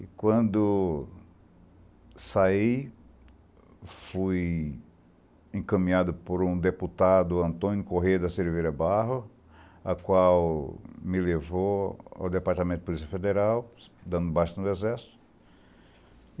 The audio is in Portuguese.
E quando saí, fui encaminhado por um deputado, Antônio Corrêa da Silveira Barro, a qual me levou ao Departamento de Polícia Federal, dando baixa no Exército.